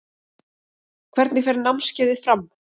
Hvernig fer námskeiðið fram?